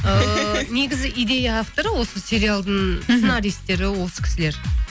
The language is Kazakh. ыыы негізі идея авторы осы сериалдың сценаристері осы кісілер